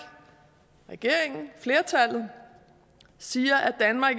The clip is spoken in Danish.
regeringen flertallet siger at danmark